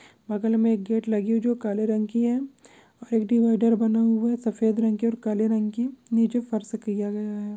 बगल मे एक गेट लगी है जो काले रंग की है और एक डिवाइडर बना हुआ है सफेद रंग और काले रंग की निचे फर्श किया गया है।